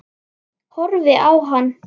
Horfi á hann.